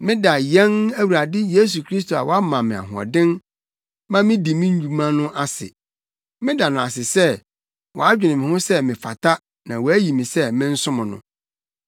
Meda yɛn Awurade Yesu Kristo a wama me ahoɔden ma midi me dwuma no ase. Meda no ase sɛ wadwene me ho sɛ mefata na wayi me sɛ mensom no.